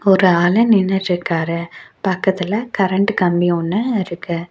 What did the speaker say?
ஒரு ஆளு நின்னுட்டு இருக்காரு பக்கத்துல கரண்ட் கம்பி ஒன்னு இருக்கு.